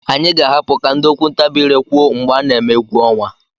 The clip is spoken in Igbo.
Anyị ga-ahapụ ka ndị okwu ntabi ire kwuo mgbe a na-eme egwu ọnwa.